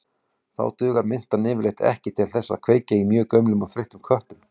Þá dugar mintan yfirleitt ekki til þess að kveikja í mjög gömlum og þreyttum köttum.